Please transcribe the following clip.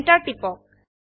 enter টিপক